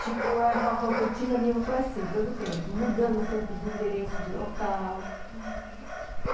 Tipo, a rotina minha foi assim todo o tempo, mudando sempre de endereço, de local... Uhum...